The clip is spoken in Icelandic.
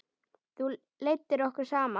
Þú leiddir okkur saman.